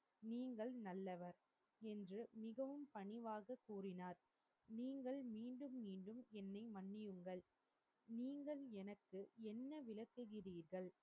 நீங்கள் நல்லவர் என்று மிகவும் பணிவாக கூறினார் நீங்கள் மீண்டும் மீண்டும் என்னை மன்னியுங்கள் நீங்கள் எனக்கு என்ன விளக்குகறீர்கள்